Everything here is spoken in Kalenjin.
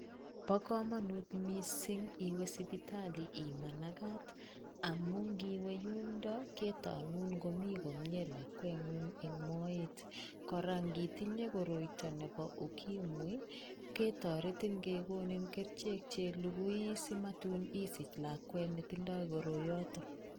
Bo kamanut mising iwe sipitali imanakat amun ngiwe yundo ketonun ngomi komnyee lakwengung eng moet, kora ngitinye koroito nebo UKIMWI ketoretin kekonin kerichek che lugui simatun isich lakwet ne tindoi koroiyoto.